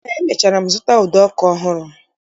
Eé, emechara m zụta ụdọ ọkụ ọhụrụ